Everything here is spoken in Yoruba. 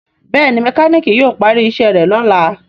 Béèni mekaniki yíò pari iṣé rẹ lọla.